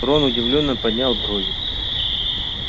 рон удивлённо поднял брови